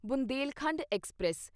Bundelkhand express